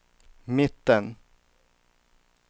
mitten